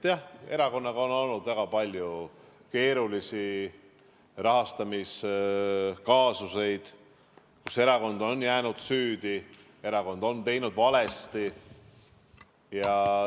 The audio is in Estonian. Jah, erakonnal on olnud väga palju keerulisi rahastamiskaasuseid, kus erakond on jäänud süüdi, erakond on teinud valesti.